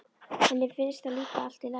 Henni finnst það líka allt í lagi.